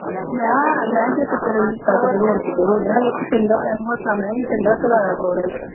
ਨਾ ਮੈਂ ਕਿਹਾ ਜੇ ਤੇਰਾ ਰਿਸ਼ਤਾ ਕਿਤੇ ਹੋਰ ਕਿਤੇ ਹੋ ਗਿਆ ਵਿੱਚ ਚੰਗਾ ਮੈਨੂੰ ਹੱਸਾਂ, ਮੈਂ ਵੀ ਚੰਗਾ ਖਿਲਾਰਾ ਪਾਉਣਾ ਹੈ